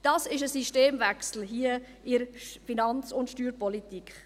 Das ist ein Systemwechsel in der Finanz- und Steuerpolitik.